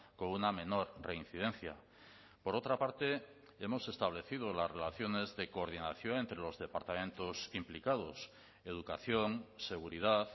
con una menor reincidencia por otra parte hemos establecido las relaciones de coordinación entre los departamentos implicados educación seguridad